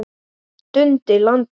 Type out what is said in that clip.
Dundi landa!